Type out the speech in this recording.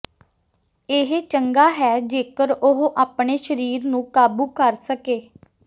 ਇਹ ਚੰਗਾ ਹੈ ਜੇਕਰ ਉਹ ਆਪਣੇ ਸਰੀਰ ਨੂੰ ਕਾਬੂ ਕਰ ਸਕੇ